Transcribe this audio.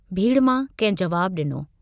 भीड़ मां कंहिं जवाबु डिनो।